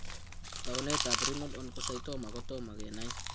Taunetab Renal Oncocytoma ko tomo kenai.